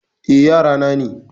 Eh, yara na ne.